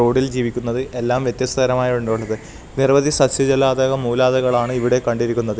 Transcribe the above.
റോഡിൽ ജീവിക്കുന്നത് എല്ലാം വ്യത്യസ്തരമായി ഉള്ളത് നിരവധി സസ്സ്യജലാതക മൂലാതക്കളാണ് ഇവിടെ കണ്ടിരിക്കുന്നത്.